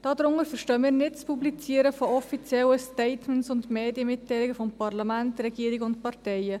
Darunter verstehen wir nicht das Publizieren offizieller Statements und Medienmitteilungen von Parlament, Regierung und Parteien.